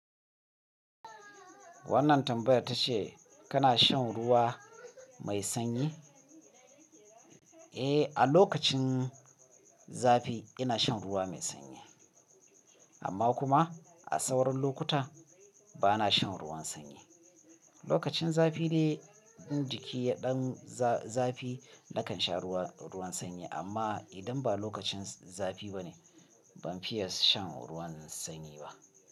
Wannan tambayar ta ce kana shan ruwa mai sanyi? Eh, a lokacin zafi ina shan ruwa mai sanyi. Amma kuma a sauran lokuta bana shan ruwan sanyi. Lokacin zafi dai, in jiki ya ɗan zafi nakan sha ruwa, ruwan sanyi. Amma idan ba lokacin zafi ba ne, ban fiye shan ruwan sanyi ba.